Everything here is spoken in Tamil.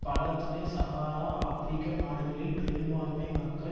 பல துணை சஹாரா ஆபிரிக்க நாடுகளில் பெரும்பான்மை மக்கள்